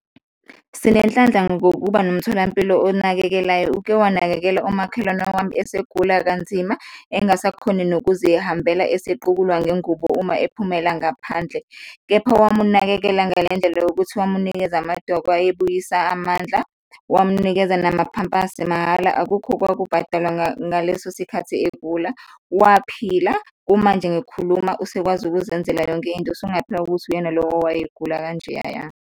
Sinenhlanhla ngokuba nomtholampilo onakekelayo, uke wakunakekela umakhelwane wami esegula kanzima, engasakhoni nokuzihambela, esequkulwa ngengubo uma ephumelela ngaphandle, kepha wamunakekela ngale ndlela yokuthi wamunikeza amadoko ayebuyisa amandla, wamunikeza namaphampasi mahhala. Akukho kwaku bhadalwa ngaleso sikhathi egula, waphila, kumanje ngikhuluma usekwazi ukuzenzela yonke into, usungaphika ukuthi uyena lo owayegula kanjeyaya.